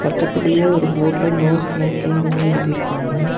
பக்கத்திலேயே ஒரு போர்டுல நோ ஸ்மோக்கிங்னு எழுதிருக்காங்க.